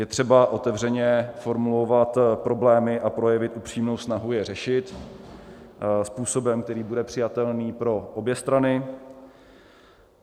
Je třeba otevřeně formulovat problémy a projevy, upřímnou snahu je řešit způsobem, který bude přijatelný pro obě strany.